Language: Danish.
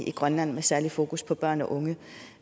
i grønland med særlig fokus på børn og unge